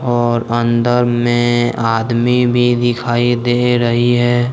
और अंदर में आदमी भी दिखाई दे रही है।